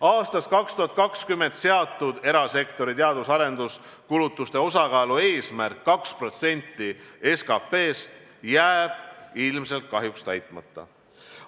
Aastaks 2020 seatud erasektori teadus- ja arenduskulutuste osakaalu eesmärk 2% SKT-st jääb ilmselt kahjuks täitmata.